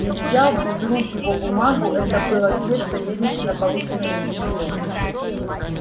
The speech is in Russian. и взял из рук его бумагу это был ответ савельича на полученное им письмо